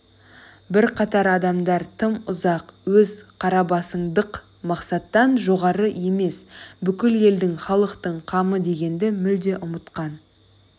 бірқатар адамдар тым ұзақ өз қарабасындық мақсаттан жоғары емес бүкіл елдің халықтың қамы дегенді мүлде ұмытқан